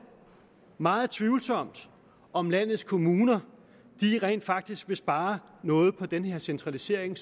meget tvivlsomt om landets kommuner rent faktisk vil spare noget på den centralisering